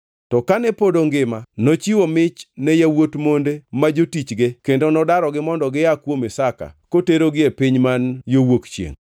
To kane pod ongima, nochiwo mich ne yawuot monde ma jotichge kendo nodarogi mondo gia kuom Isaka koterogi e piny man yo wuok chiengʼ.